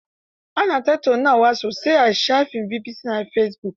Ana tattaunawa sosai a shafin BBC na fesibuk.